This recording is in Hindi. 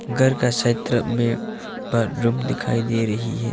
घर का क्षेत्र में प रूम दिखाई दे रही है।